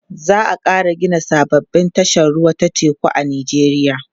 za'a Kara Gina sababbin tashar ruwa ta teku a nijeriya